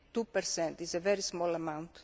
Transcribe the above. Two percent is a very small amount.